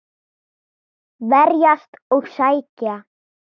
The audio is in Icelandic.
Verjast og sækja.